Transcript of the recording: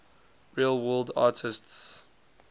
real world artists